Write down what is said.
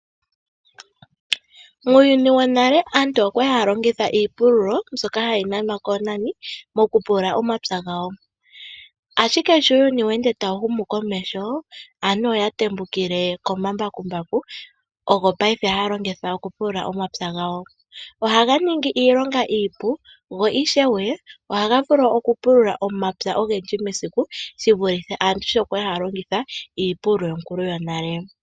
Muuyuni wonale aantu okwa li haya longitha iipululo mbyoka hayi nanwa koonani moku pulula omapya gawo. Ashike sho uuyuni we ende tawu humu komeho, aantu oya tembukile komambakumbaku, ogo paife haya longitha oku pulula omapya gawo. Ohaga ningi iilonga iipu, go ishewe ohaga vulu oku pulula omapya ogendji mesiku shivulithe sho aantu yali haya longitha iipululo yonale.